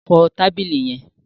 Fọ tábìlì yẹn.